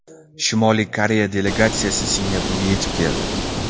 Shimoliy Koreya delegatsiyasi Singapurga yetib keldi.